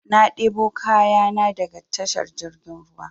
Na debo kayan na daga tashar jirgin ruwa